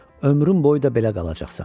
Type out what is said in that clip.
Ömrün boyu da belə qalacaqsan.